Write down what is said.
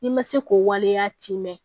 I ma se k'o waleya ti mɛn